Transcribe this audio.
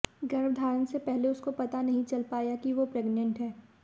गर्भधारण से पहले उसको पता नहीं चल पाया कि वो प्रेगनेंट है